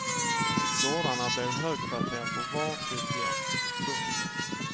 Gårdarna blev högkvarter för var sitt gäng. punkt